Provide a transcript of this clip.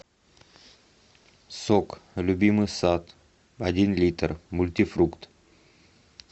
сок любимый сад один литр мультифрукт